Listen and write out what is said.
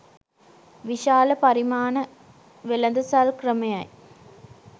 විශාල පරිමාණ වෙළදසල් ක්‍රමයයි.